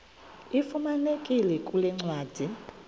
ifumaneka kule ncwadi